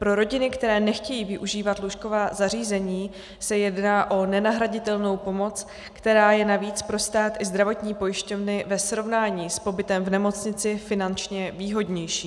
Pro rodiny, které nechtějí využívat lůžková zařízení, se jedná o nenahraditelnou pomoc, která je navíc pro stát i zdravotní pojišťovny ve srovnání s pobytem v nemocnici finančně výhodnější.